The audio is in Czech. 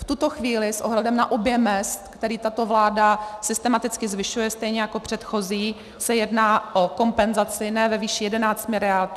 V tuto chvíli s ohledem na objem mezd, který tato vláda systematicky zvyšuje, stejně jako předchozí, se jedná o kompenzaci ne ve výši 11 miliard, ale 14 miliard.